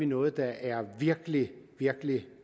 noget der er virkelig virkelig